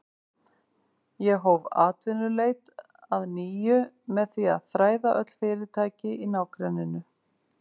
Ég hóf atvinnuleit að nýju með því að þræða öll fyrirtæki í nágrenninu.